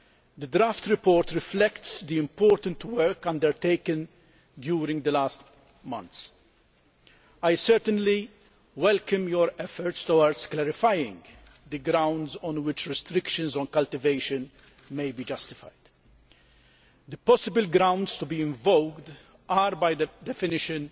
The draft report reflects the important work undertaken during the last months. I certainly welcome your efforts towards clarifying the grounds on which restrictions on cultivation may be justified. The possible grounds to be invoked are, by definition,